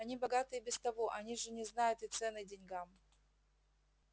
они богаты и без того они же не знают и цены деньгам